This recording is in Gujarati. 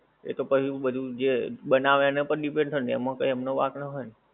એતો પછી બધુ જે બનાવે એનાં પર પણ depend હોય ને એમાં કઈ એમનો વાંક ના હોય ને.